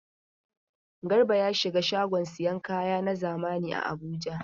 Garba ya shiga shagon sayan kaya na zamani a Abuja.